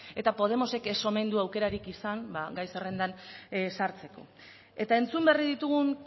eta podemosek ez omen du aukerarik izan ba gai zerrendan sartzeko eta entzun berri ditugun